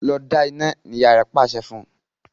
Lọ da ina! ní ìyá rẹ pàṣẹ fún.